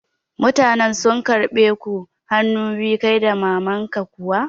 Mutanen sun karɓe ku hanu biyu kai da maman ka kuwa?